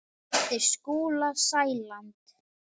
eftir Skúla Sæland.